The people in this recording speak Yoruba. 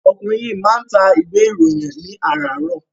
Ọkùnrin yìí máa ń ta ìwé-ìròyìn ní àràárọ̀.